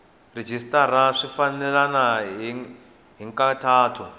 rhejisitara swi fambelena hi nkhaqato